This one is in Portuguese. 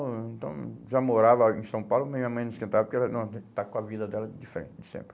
Então, já morava em São Paulo, mas minha mãe não esquentava, porque ela estava com a vida dela diferente de sempre.